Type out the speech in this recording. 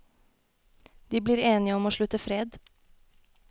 De blir enige om å slutte fred.